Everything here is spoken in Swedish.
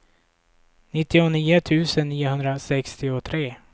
nittionio tusen niohundrasextiotre